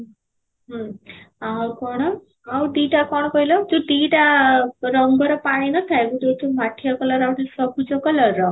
ହୁଁ ଆଉ କ'ଣ ଆଉ ଦିଇଟା କ'ଣ କହିଲ ଯଉ ଦିଇଟା ରଙ୍ଗର ପାଣି ନ ଥାଏ, ଗୋଟିଏ ହେଉଛି ମାଠିଆ color ର ଆଉ ଗୋଟେ ସବୁଜ color ର